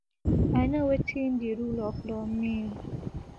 i know wetin di rule of law mean